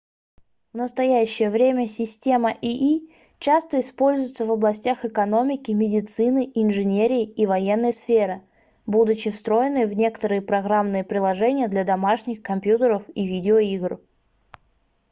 в настоящее время система ии часто используется в областях экономики медицины инженерии и военной сферы будучи встроенной в некоторые программные приложения для домашних компьютеров и видеоигр